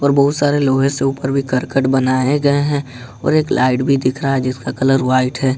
और बहुत सारे लोहे से ऊपर भी करकट बनाए गए हैं और एक लाइट भी दिख रहा है जिसका कलर व्हाइट है।